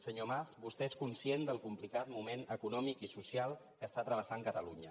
senyor mas vostè és conscient del complicat moment econòmic i social que està travessant catalunya